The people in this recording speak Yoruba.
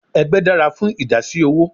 Egbe dara fun idasi owo